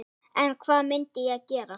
En hvað myndi ég gera?